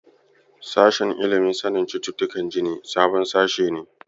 Sashen ilimin sanin cututtukan jini sabon sashe ne.